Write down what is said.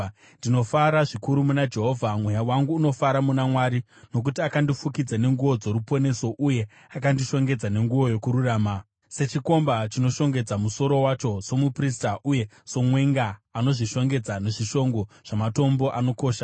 Ndinofara zvikuru muna Jehovha; mweya wangu unofara muna Mwari. Nokuti akandifukidza nenguo dzoruponeso, uye akandishongedza nenguo yokururama, sechikomba chinoshongedza musoro wacho somuprista, uye somwenga anozvishongedza nezvishongo zvamatombo anokosha.